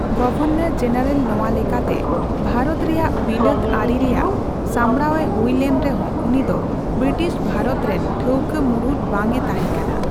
Governor general ᱱᱚᱣᱟ ᱞᱮᱠᱟᱛᱮ ᱵᱷᱟᱨᱚᱛ ᱨᱮᱭᱟᱜ ᱵᱤᱞᱟᱹᱛ ᱟᱹᱨᱤ ᱨᱮᱭᱟᱜ ᱥᱟᱸᱵᱲᱟᱣᱮ ᱦᱩᱭ ᱞᱮᱱ ᱨᱮᱦᱚᱸ ᱩᱱᱤᱫᱚ ᱵᱨᱤᱴᱤᱥ ᱵᱷᱟᱨᱚᱛ ᱨᱮᱱ ᱴᱷᱟᱹᱣᱠᱟᱹ ᱢᱩᱬᱩᱫ ᱵᱟᱝᱮ ᱛᱟᱦᱮᱸᱠᱟᱱᱟ ᱾